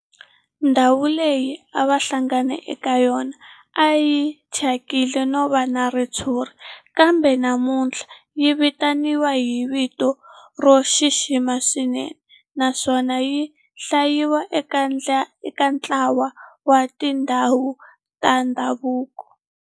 Ndhawu leyi a va hlangana ka yona a yi thyakile no va na ritshuri kambe namuntlha yi vitaniwa hi vito ro xixima swinene naswona yi hlayiwa eka ntlawa wa tindhawu ta ndhavuko.